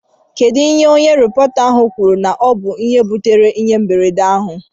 Kedụ ihe onye rịpọta ahụ kwuru na ọ bụ ihe butere ịhe mberede a?